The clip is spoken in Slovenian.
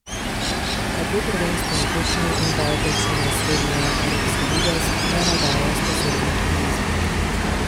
A dve prvenstveni tekmi in dva obračuna srednjeevropske lige ne navdajajo s posebnim optimizmom.